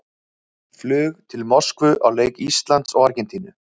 Flug til Moskvu á leik Íslands og Argentínu.